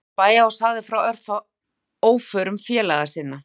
Hann komst til bæja og sagði frá óförum félaga sinna.